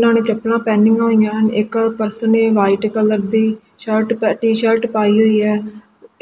ਨਾਲੇ ਚੱਪਲਾਂ ਪੈਣੀਆਂ ਹੋਈਆਂ ਹਨ ਇੱਕ ਪਰਸਨ ਇਕ ਵਾਈਟ ਕਲਰ ਦੀ ਸ਼ਰਟ ਟੀ ਸ਼ਰਟ ਪਾਈ ਹੋਈ ਹੈ